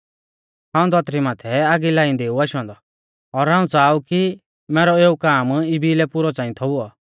हाऊं धौतरी माथै आगी लाइंदै ऊ आशौ औन्दौ और हाऊं च़ाहा ऊ कि मैरौ एऊ काम इबी लै पुरौ च़ांई थौ हुऔ